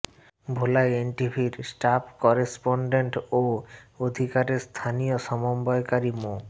ভোলায় এনটিভির staff correspondent ও অধিকারের স্থানীয় সমন্বয়কারী মো